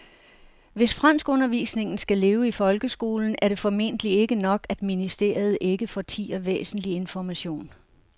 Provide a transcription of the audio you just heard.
Hvis franskundervisningen skal leve i folkeskolen er det formentlig ikke nok, at ministeriet ikke fortier væsentlig information.